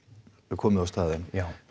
komið á staðinn